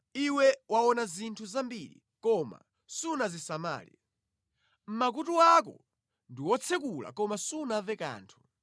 Iwe waona zinthu zambiri, koma sunazisamale; makutu ako ndi otsekuka koma sumva kanthu.”